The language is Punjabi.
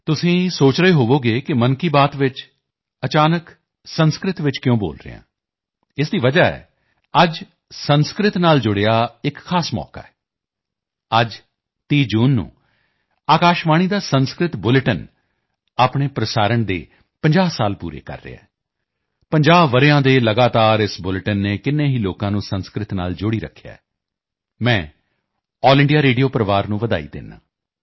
ਤੁਸੀਂ ਸੋਚ ਰਹੇ ਹੋਵੋਗੇ ਕਿ 'ਮਨ ਕੀ ਬਾਤ' 'ਚ ਅਚਾਨਕ ਸੰਸਕ੍ਰਿਤ ਵਿੱਚ ਕਿਉਂ ਬੋਲ ਰਿਹਾ ਹਾਂ ਇਸ ਦੀ ਵਜ੍ਹਾ ਹੈ ਅੱਜ ਸੰਸਕ੍ਰਿਤ ਨਾਲ ਜੁੜਿਆ ਇੱਕ ਖਾਸ ਮੌਕਾ ਹੈ ਅੱਜ 30 ਜੂਨ ਨੂੰ ਆਕਾਸ਼ਵਾਣੀ ਦਾ ਸੰਸਕ੍ਰਿਤ ਬੁਲੇਟਿਨ ਆਪਣੇ ਪ੍ਰਸਾਰਣ ਦੇ 50 ਸਾਲ ਪੂਰੇ ਕਰ ਰਿਹਾ ਹੈ 50 ਵਰ੍ਹਿਆਂ ਦੇ ਲਗਾਤਾਰ ਇਸ ਬੁਲੇਟਿਨ ਨੇ ਕਿੰਨੇ ਹੀ ਲੋਕਾਂ ਨੂੰ ਸੰਸਕ੍ਰਿਤ ਨਾਲ ਜੋੜੀ ਰੱਖਿਆ ਹੈ ਮੈਂ ਆਲ ਇੰਡੀਆ ਰੇਡੀਓ ਪਰਿਵਾਰ ਨੂੰ ਵਧਾਈ ਦਿੰਦਾ ਹਾਂ